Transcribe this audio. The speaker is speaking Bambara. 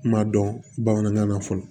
Kuma dɔn bamanankan na fɔlɔ